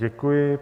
Děkuji.